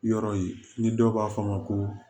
Yɔrɔ ye ni dɔw b'a fɔ a ma ko